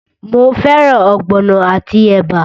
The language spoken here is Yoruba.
Mo fẹ́ràn ogbono àti ẹ̀bà?